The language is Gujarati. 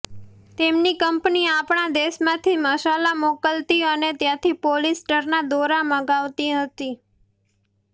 તેમની કંપની આપણા દેશમાંથી મસાલા મોકલતી અને ત્યાંથી પોલિસ્ટરના દોરા મંગાવતી હતી